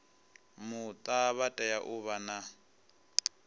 muta vha tea u vha